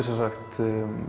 sem sagt